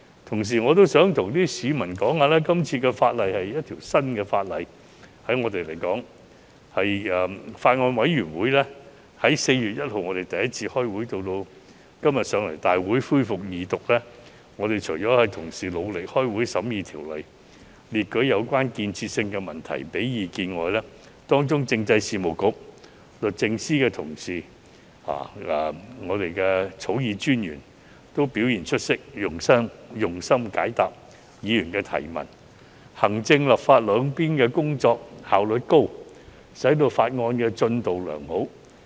同時，我想告訴市民，對我們而言，今次的法例是全新的，法案委員會在4月1日第一次舉行會議，至今天提交大會恢復二讀，除了同事努力舉行會議審議《條例草案》、列舉有建設性問題及提供意見外，政制及內地事務局、律政司的同事和我們的法律顧問均表現出色，用心解答議員提問，行政、立法兩方面的工作效率高，使法案進度良好。